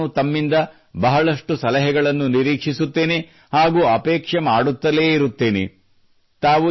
ಹಾಗೂ ನಾನು ತಮ್ಮಿಂದ ಬಹಳಷ್ಟು ಸಲಹೆಗಳನ್ನು ನಿರೀಕ್ಷಿಸುತ್ತೇನೆ ಹಾಗೂ ಅಪೇಕ್ಷೆ ಮಾಡುತ್ತಲೇ ಇರುತ್ತೇನೆ